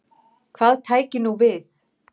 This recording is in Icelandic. Hvað tæki nú við?